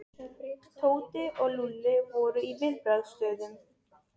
Tóti og Lúlli voru í viðbragðsstöðu.